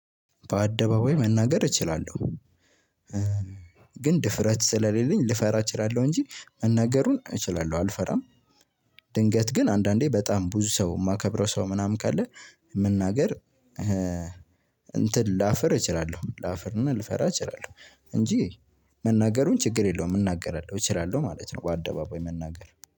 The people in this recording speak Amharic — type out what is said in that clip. በአደባባይ መናገር እችላለሁ ግን ድፍረት ስለሌለኝ ልፈራ እችላለሁ እንጂ መናገሩን እችላለሁ አልፈራም። ድንገት ግን አንዳንዴ በጣም ብዙ ሰው የማከብረው ሰው ምናምን ካለ መናገር። እንትን ላፍር እችላለሁ ላፍርና ልፈራ እችላለሁ እንጂ መናገሩን ችግር የለውም እናገራለሁ እችላለሁ ማለት ነው። በአደባባይ መናገር